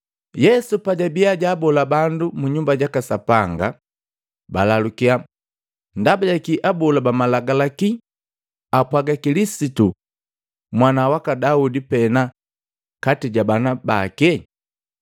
Yesu pajabia jwaabola bandu mu Nyumba jaka Sapanga, balalukya, “Ndaba jakii abola ba malagalaki apwaga Kilisitu mwana waka Daudi pena kati ja bana bake?